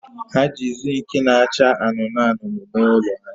Ha ji zinki na-acha anụnụ anụnụ mee ụlọ ha